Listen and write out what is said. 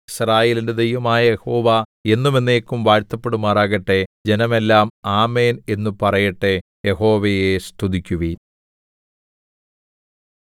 യിസ്രായേലിന്റെ ദൈവമായ യഹോവ എന്നും എന്നേക്കും വാഴ്ത്തപ്പെടുമാറാകട്ടെ ജനമെല്ലാം ആമേൻ എന്നു പറയട്ടെ യഹോവയെ സ്തുതിക്കുവിൻ